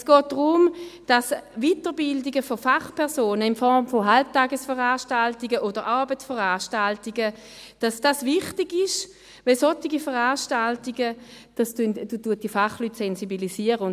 Es geht darum, dass Weiterbildungen von Fachpersonen in Form von Halbtagesveranstaltungen oder Abendveranstaltungen wichtig sind, weil solche Veranstaltungen die Fachleute sensibilisieren.